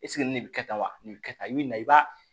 nin bɛ kɛ tan wa nin bɛ kɛ tan i bɛ nin na i b'a